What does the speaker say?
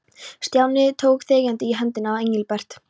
Stjáni tók þegjandi í hendina á Engilbert.